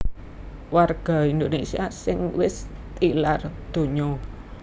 Warga Indonésia sing wis tilar donya